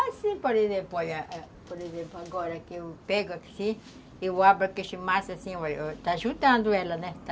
Assim, por exemplo, agora que eu pego assim, eu abro aquele maço assim, olha, está ajudando ela, né?